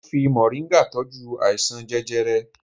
Mo ń fi mọ̀ríngà tọ́jú àìsàn jẹjẹrẹ